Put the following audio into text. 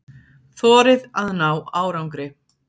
Þorið að ná árangri.